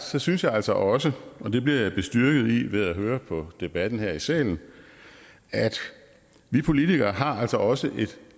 synes jeg altså også og det bliver jeg bestyrket i ved at høre på debatten her i salen at vi politikere altså også har et